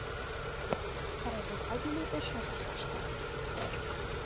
қара жорға биледі шашу шашты